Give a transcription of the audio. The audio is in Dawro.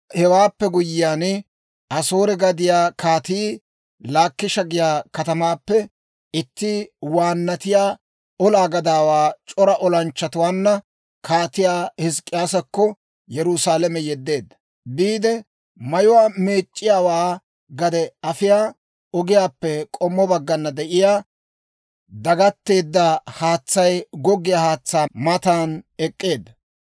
Hewaappe guyyiyaan, Asoore gadiyaa Kaatii Laakisha giyaa katamaappe itti waannatiyaa olaa gadaawaa c'ora olanchchatuwaanna Kaatiyaa Hizk'k'iyaasakko Yerusaalame yeddeedda. Biide, Mayuwaa Meec'c'iyaawaa gade afiyaa ogiyaappe k'ommo baggana de'iyaa dagatteedda haatsay goggiyaa haatsaa matan ek'k'eedda.